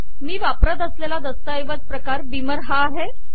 मी वापरत असलेला दस्तऐवज प्रकार बीमर हा आहे